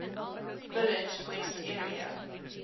village west area